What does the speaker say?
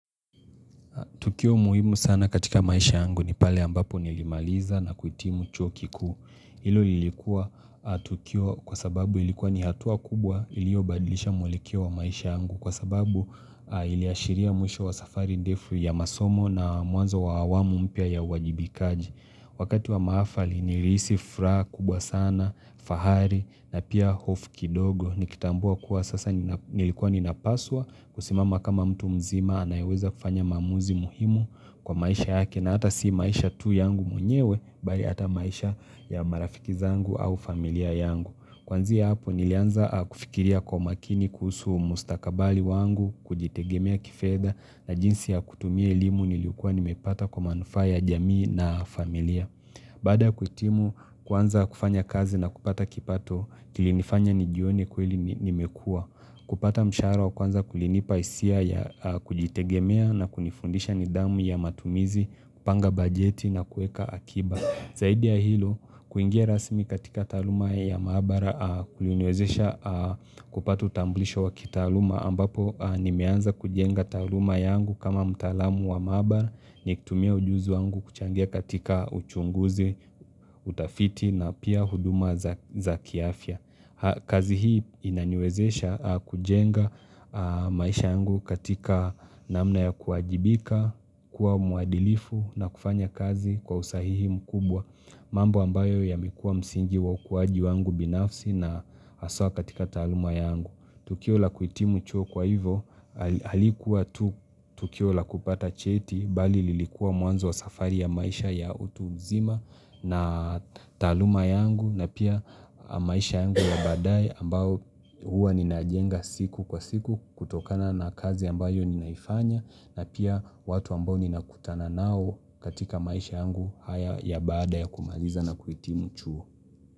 Tukio muhimu sana katika maisha yangu ni pale ambapo nilimaliza na kuhitimu chuo kikuu. Lilo lilikuwa tukio kwa sababu ilikuwa ni hatua kubwa iliobadilisha mwelekeo wa maisha yangu kwa sababu iliashiria mwisho wa safari ndefu ya masomo na mwanzo wa awamu mpya ya uwajibikaji. Wakati wa maafali nilisi furaha kubwa sana, fahari na pia hofu kidogo Nikitambua kuwa sasa nilikuwa ninapaswa kusimama kama mtu mzima anayeweza kufanya maamuzi muhimu kwa maisha yake na hata si maisha tu yangu mwnyewe Bali hata maisha ya marafiki zangu au familia yangu Kwanzia hapo nilianza kufikiria kwa makini kuhusu mustakabali wangu kujitegemea kifedha na jinsi ya kutumia elimu nilikuwa nimepata kwa manufaa ya jamii na familia. Baada kuhitimu kuanza kufanya kazi na kupata kipato, kilinifanya nijione kweli nimekua. Kupata mshahara wa kwanza kulinipa hisia ya kujitegemea na kunifundisha nidhamu ya matumizi, kupanga bajeti na kuweka akiba. Zaidi ya hilo, kuingia rasmi katika taaluma ya maabara kuliniwezesha kupata utambulisho wa kitaaluma ambapo nimeanza kujenga taaluma yangu kama mtaalamu wa maabara nikitumia ujuzi wangu kuchangia katika uchunguzi, utafiti na pia huduma za kiafya kazi hii inaniwezesha kujenga maisha yangu katika namna ya kuwajibika kuwa mwadilifu na kufanya kazi kwa usahihi mkubwa mambo ambayo yamekuwa msingi wa ukuaji wangu binafsi na hasa katika taaluma yangu Tukio la kuhitimu chuo kwa hivo halikuwa tu tukio la kupata cheti bali lilikuwa mwanzo wa safari ya maisha ya utu uzima na taaluma yangu na pia maisha yangu ya baadaye ambao huwa ninajenga siku kwa siku kutokana na kazi ambayo ninaifanya na pia watu ambao ninakutana nao katika maisha yangu haya ya baada ya kumaliza na kuhitimu chuo.